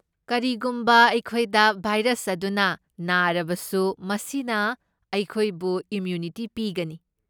ꯀꯔꯤꯒꯨꯝꯕ ꯑꯩꯈꯣꯏꯗ ꯚꯥꯏꯔꯁ ꯑꯗꯨꯅ ꯅꯥꯔꯕꯁꯨ ꯃꯁꯤꯅ ꯑꯩꯈꯣꯏꯕ ꯏꯃ꯭ꯌꯨꯅꯤꯇꯤ ꯄꯤꯒꯅꯤ꯫